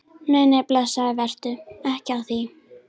Nei, nei, blessaður, vertu ekki að því.